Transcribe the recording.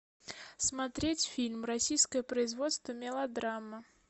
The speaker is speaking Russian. смотреть фильм российское производство мелодрама